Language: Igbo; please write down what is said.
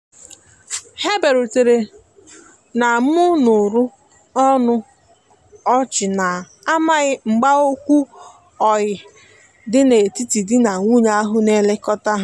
ha biarutere na mụrụ ọnụ ọchina amaghi mgba okwu oyi di na etiti di na nwunye ahu na elekota ha